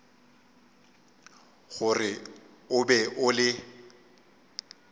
gore o be o le